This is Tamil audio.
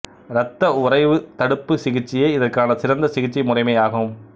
இரத்த உறைவுத் தடுப்பு சிகிச்சையே இதற்கான சிறந்த சிகிச்சை முறைமையாகும்